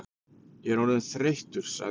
Ég er orðinn þreyttur sagði